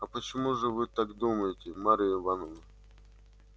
а почему же вы так думаете марья ивановна